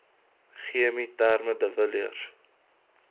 chemieterme de villiers